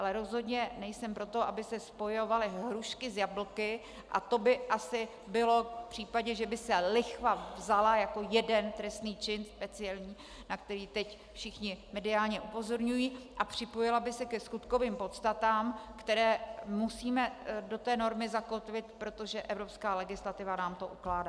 Ale rozhodně nejsem pro to, aby se spojovaly hrušky s jablky, a to by asi bylo v případě, že by se lichva vzala jako jeden trestný čin speciální, na který teď všichni mediálně upozorňují, a připojila by se ke skutkovým podstatám, které musíme do té normy zakotvit, protože evropská legislativa nám to ukládá.